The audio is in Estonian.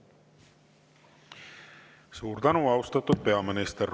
Suur tänu, austatud peaminister!